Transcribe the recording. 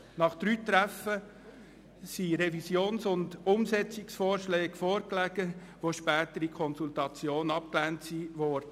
Nach drei Treffen lagen Revisions- und Umsetzungsvorschläge vor, die später in der Konsultation abgelehnt wurden.